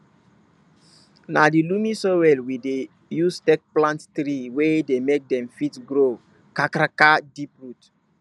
na di loamy soil we dey use take plant tree wey dey make dem fit grow kakaraka deep root